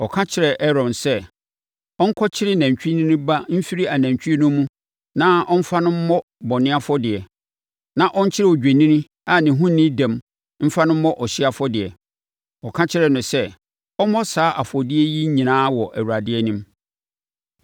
Ɔka kyerɛɛ Aaron sɛ, ɔnkɔkyere nantwinini ba mfiri anantwie no mu na ɔmfa no mmɔ bɔne afɔdeɛ, na ɔnkyere odwennini a ne ho nni dɛm mfa no mmɔ ɔhyeɛ afɔdeɛ. Ɔka kyerɛɛ no sɛ ɔmmɔ saa afɔdeɛ yi nyinaa wɔ Awurade anim.